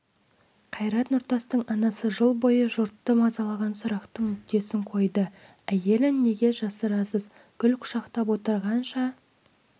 қайрат нұртастың анасы жыл бойы жұртты мазалаған сұрақтың нүктесін қойды әйелін неге жасырасыз гүл құшақтап отырғанша